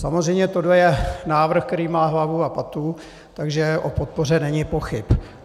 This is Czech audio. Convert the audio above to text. Samozřejmě tohle je návrh, který má hlavu a patu, takže o podpoře není pochyb.